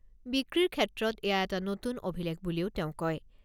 বিক্ৰীৰ ক্ষেত্ৰত এয়া এটা নতুন অভিলেখ বুলিও তেওঁ কয়।